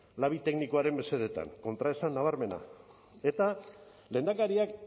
labi teknikoaren mesedetan kontraesan nabarmena eta lehendakariak